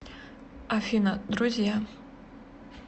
афина друзья